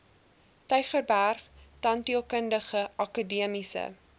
tygerberg tandheelkundige akademiese